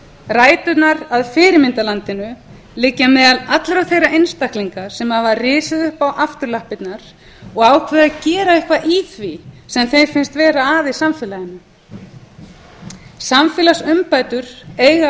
ræturnar að fyrirmyndarlandinu liggja meðal allra þeirra einstaklinga sem hafa risið upp á afturlappirnar og ákveðið að gera eitthvað í því sem þeim finnst vera að í samfélaginu samfélagsumbætur eiga